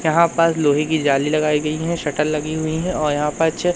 यहां पर लोहे की जाली लगायी गई है शटर लगी हुई है और यहां प छे--